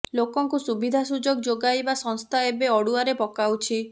ଲୋକଙ୍କୁ ସୁବିଧା ସୁଯୋଗ ଯୋଗାଇବା ସଂସ୍ଥା ଏବେ ଅଡ଼ୁଆରେ ପକାଉଛି